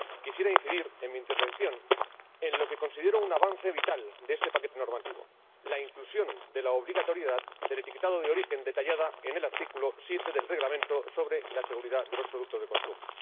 Quisiera incidir en mi intervención en lo que considero un avance vital de este paquete normativo la inclusión de la obligatoriedad del etiquetado de origen, detallada en el artículo 7 del Reglamento sobre la seguridad de los productos de consumo.